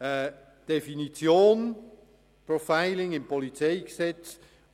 Die Definition von Profiling im PolG